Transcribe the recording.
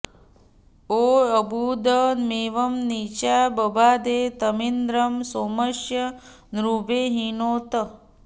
यो अर्बु॑द॒मव॑ नी॒चा ब॑बा॒धे तमिन्द्रं॒ सोम॑स्य भृ॒थे हि॑नोत